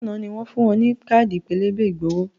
Ǹjẹ́ àná ni wọn fun ọ ní káàdì pélébé ìgbowó?